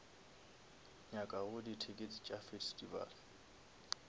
nyakago di tickets tša festival